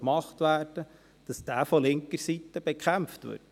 Die Investitionen zeigen, dass wieder mehr Investitionsvolumen nötig ist.